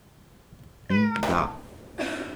In da.